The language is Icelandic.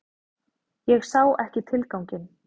Ég sá ekki tilganginn.